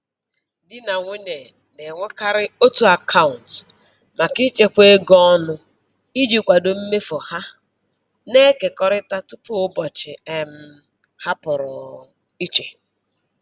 Di na nwunye na-enwekarị otu akaụntụ maka ịchekwa ego ọnụ iji kwado mmefu ha na-ekekọrịta tupu ụbọchị um ha pụrụ um iche